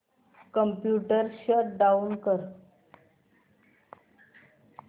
computer shut down कर